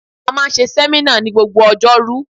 A máa ń ṣe sẹ́mínà ní gbogbo Ọjọ́rú